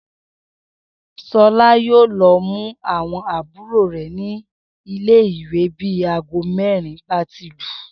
S̩o̩lá yóò lo̩ mú àwo̩n àbúrò rè̩ nílé ìwé bí aago mé̩rin bá ti lù